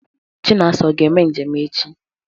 Chinasa ọ ga-eme njem echi?